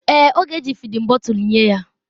Èè, ọ ga-eji fịdin bọtul nye ya.